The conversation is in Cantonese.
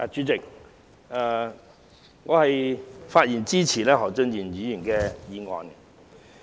主席，我發言支持何俊賢議員的議案。